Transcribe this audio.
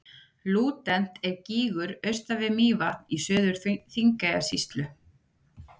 Lúdent er gígur austan við Mývatn í Suður-Þingeyjarsýslu.